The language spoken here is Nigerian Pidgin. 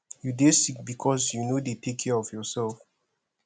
you dey sick because you no dey take care of yourself